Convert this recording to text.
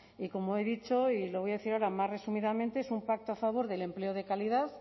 y como he dicho y lo voy a decir ahora más resumidamente es un pacto a favor del empleo de calidad